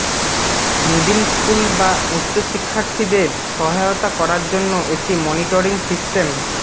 middle school বা উচ্চ শিক্ষার্থীদের সহায়তা করার জন্য একটি মনিটরিং সিস্টেম